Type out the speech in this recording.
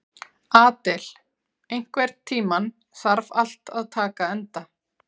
Adel, einhvern tímann þarf allt að taka enda.